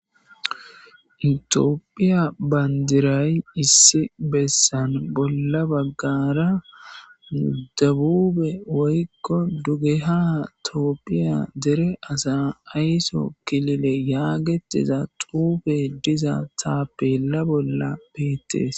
Ethiopia bandiray issi besan bolla bagara debube woykko dugeha tophia dere asa ayiso kilile yagetiza xufe diza tapela bola betes.